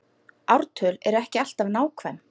Ártöl eru ekki alltaf nákvæm